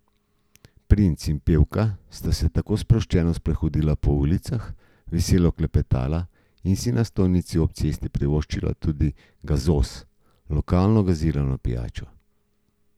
Princ in pevka sta se tako sproščeno sprehodila po ulicah, veselo klepetala in si na stojnici ob cesti privoščila tudi gazoz, lokalno gazirano pijačo.